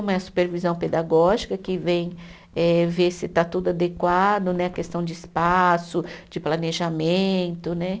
Uma é a supervisão pedagógica, que vem eh ver se está tudo adequado né, a questão de espaço, de planejamento né.